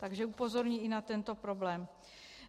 Takže upozorňuji i na tento problém.